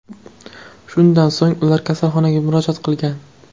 Shundan so‘ng ular kasalxonaga murojaat qilgan.